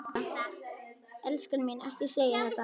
Elskan mín, ekki segja þetta!